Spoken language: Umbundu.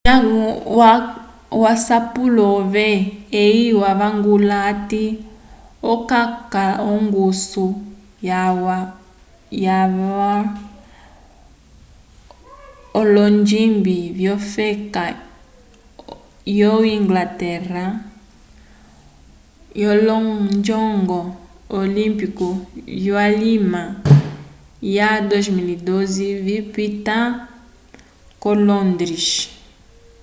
ndañgo waca asapulo ove eye wavangula hati okaca ongusu yalwa k'olonjimbi vyofeka yo inglaterra k'olonjongo olimpiku vyulima wa 2012 vipita ko londres